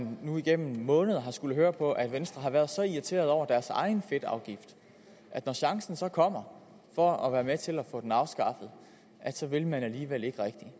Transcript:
nu igennem måneder har skullet høre på at venstre har været så irriteret over deres egen fedtafgift at når chancen så kommer for at være med til at få den afskaffet så vil man alligevel ikke rigtig